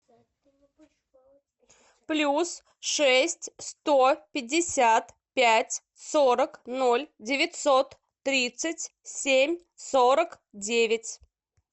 плюс шесть сто пятьдесят пять сорок ноль девятьсот тридцать семь сорок девять